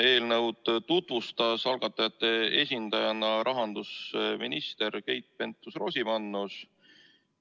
Eelnõu tutvustas algatajate esindajana rahandusminister Keit Pentus-Rosimannus.